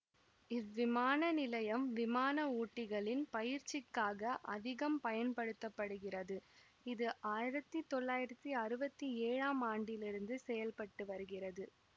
இவ்விமான நிலையம் விமான ஓட்டிகளின் பயிற்சிக்காக அதிகம் பயன்படுத்த படுகிறது இது ஆயிரத்தி தொள்ளாயிரத்தி அறுவத்தி ஏழாம் ஆண்டிலிருந்து செயல்பட்டு வருகிறது